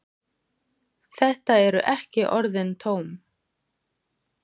Þetta eru ekki orðin tóm.